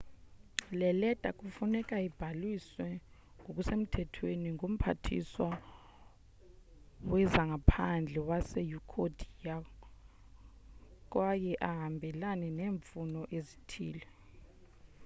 le leta kufuneka ibhaliswe ngokusemthethweni ngumphathiswa wezangaphandle wase-ecuador kwaye ahambelane neemfuno ezithile